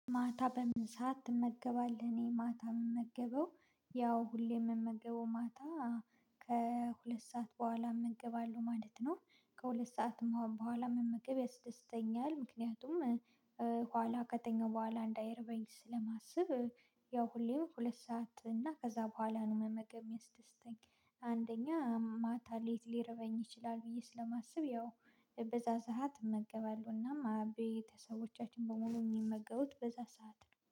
ማታ በምን ሰዓት ትመገባለህ? እኔ ማታ የምመገበው ያው ሁሌ የምመገበው ማታ ከሁለት ሰዓት በኋላ እመገባለው ማለት ነው። ከሁለት ሰዓትም በኋላ መመገብ ያስደስተኛል ምክንያቱም ኋላ ከተኛው በኋላ እንዳይርበኝ ስለማስብ። ያው ሁሌም ሁለት ሰዓት እና ከዛ በኋላ ነው መመገብ የሚያስደስተኝ። አንደኛ ማታ ለሌት ሊረበኝ ይችላል ብዬ ስለማስብ ያው በዛ ሰዓት እመገባለሁና ቤተሰቦቻችንን በሙሉ የሚመገቡት በዛ ሰዓት ነው